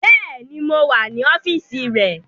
Béèni, mo wà ní ọ́fíìsì rẹ̀